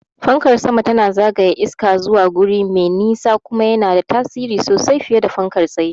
Fankar sama tana zagaya iska zuwa guri me nisa, kuma yana da tasiri sosai fiye da fankar tsaye.